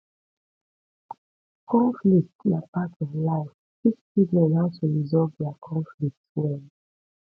conflict na part of life teach children how to resolve their conflict well